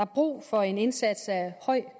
brug for en indsats af høj